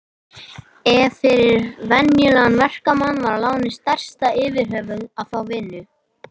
En fyrir venjulegan verkamann var lánið stærsta yfirhöfuð að fá vinnu.